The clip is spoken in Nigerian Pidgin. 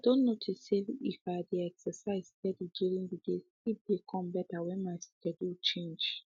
i don notice say if i dey exercise steady during the day sleep dey come better when my schedule change